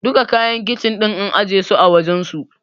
Duka kayan Kicin ɗin an ajiye su a wajensu.